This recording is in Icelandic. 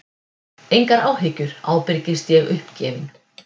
Engar áhyggjur, ábyrgist ég uppgefin.